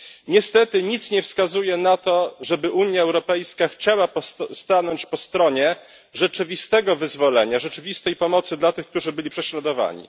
Niestety nic nie wskazuje na to, żeby Unia Europejska chciała stanąć po stronie rzeczywistego wyzwolenia, rzeczywistej pomocy dla tych, którzy byli prześladowani.